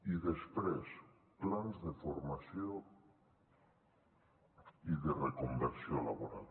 i després plans de formació i de reconversió laboral